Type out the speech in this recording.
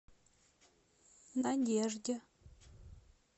надежде